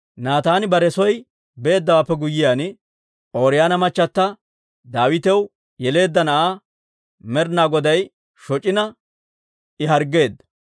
Naataani bare soo beeddawaappe guyyiyaan, Ooriyoona machata Daawitaw yeleedda na'aa Med'inaa Goday shoc'ina I harggeedda.